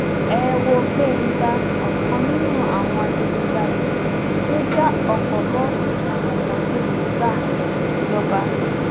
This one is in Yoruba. ẹ wo gbéńgá ọkan nínú àwọn adigunjalè tó já ọkọ bọọsì àwọn ọmọ iléèwé gbà lọba